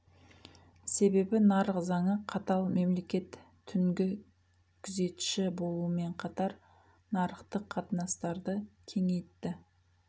себебі нарық заңы қатал мемлекет түнгі күзетші болумен қатар нарықтық қатынастарды кеңейтті